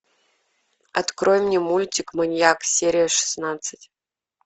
открой мне мультик маньяк серия шестнадцать